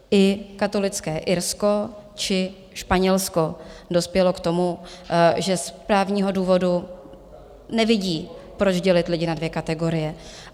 I katolické Irsko či Španělsko dospělo k tomu, že z právního důvodu nevidí, proč dělit lidi na dvě kategorie.